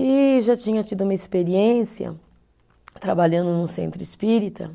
E já tinha tido uma experiência trabalhando num centro espírita,